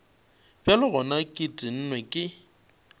bjale gona ke tennwe ke